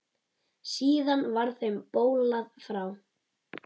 Síðar var þeim bolað frá.